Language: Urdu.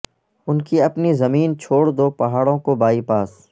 ان کی اپنی زمین چھوڑ دو پہاڑوں کو بائی پاس